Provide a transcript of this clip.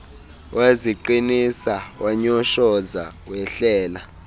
waziqinisa wanyoshoza wehlela